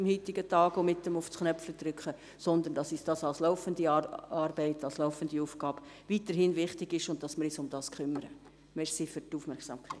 Als laufende Arbeit, als laufende Aufgabe ist uns dies weiterhin wichtig und wir kümmern uns darum.